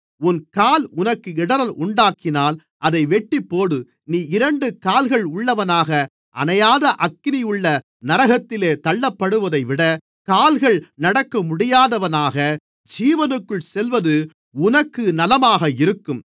உன் கால் உனக்கு இடறல் உண்டாக்கினால் அதை வெட்டிப்போடு நீ இரண்டு கால்கள் உள்ளவனாக அணையாத அக்கினியுள்ள நரகத்திலே தள்ளப்படுவதைவிட கால்கள் நடக்கமுடியாதவனாக ஜீவனுக்குள் செல்வது உனக்கு நலமாக இருக்கும்